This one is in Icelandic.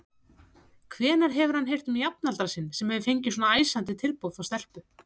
Hvenær hefur hann heyrt um jafnaldra sinn sem hefur fengið svona æsandi tilboð frá stelpu?